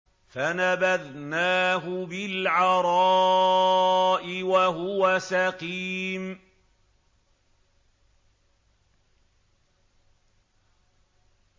۞ فَنَبَذْنَاهُ بِالْعَرَاءِ وَهُوَ سَقِيمٌ